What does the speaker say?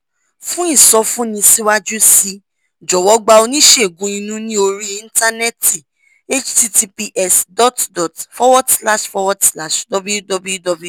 fún ìsọfúnni síwájú sí i jọ̀wọ́ gba oníṣègùn inú ní orí íńtánẹ́ẹ̀tì https dot dot forward slash forwad slash www